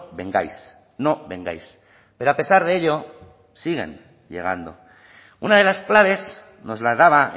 vengáis no vengáis pero a pesar de ello siguen llegando una de las claves nos la daba